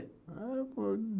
Ah foi